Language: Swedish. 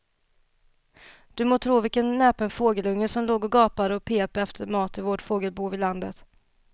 Du må tro vilken näpen fågelunge som låg och gapade och pep efter mat i vårt fågelbo på landet.